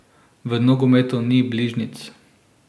V nogometu ni bližnjic.